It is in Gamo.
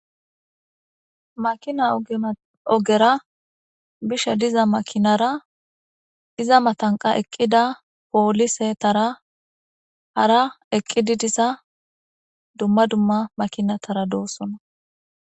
Makina ogera bishe diza makinara iza matan eqida polisetara hara eqidi diza duma duma makinatara do'sona